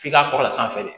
F'i ka kɔrɔ a sanfɛ